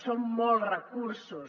són molts recursos